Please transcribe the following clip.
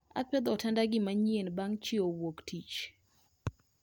Apedho otanda gi manyien bang' chiew wuok tich